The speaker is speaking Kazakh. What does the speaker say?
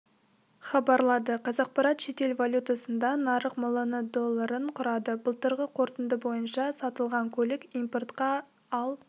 хабарлады қазақпарат шетел валютасында нарық миллион долларын құрады былтырғы қорытынды бойынша сатылған көлік импортқа ал